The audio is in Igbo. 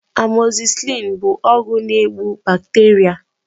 Amoxicillin bụ ọgwụ na egbu bacteria